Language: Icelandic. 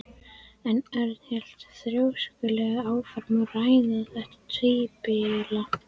En Örn hélt þrjóskulega áfram að ræða þetta tímabil.